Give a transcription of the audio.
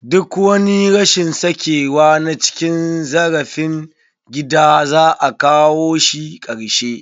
Duk wani rashin sakewa na cin zarafin gida, za a kawo shi karshe.